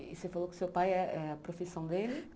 E você falou que o seu pai é a profissão dele?